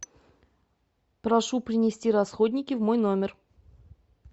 прошу принести расходники в мой номер